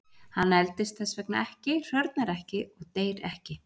Hann eldist þess vegna ekki, hrörnar ekki og deyr ekki.